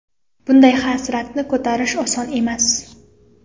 Bunday hasratni ko‘tarish oson emas”.